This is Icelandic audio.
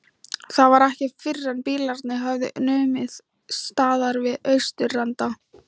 Það var ekki fyrren bílarnir höfðu numið staðar við austurenda